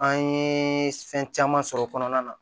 An ye fɛn caman sɔrɔ kɔnɔna na